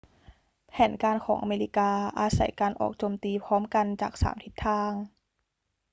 แผนการของอเมริกาอาศัยการออกโจมตีพร้อมกันจากสามทิศทาง